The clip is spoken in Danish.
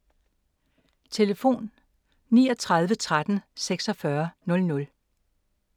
Telefon: 39 13 46 00